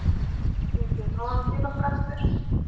Myndi ég fá hann til okkar aftur?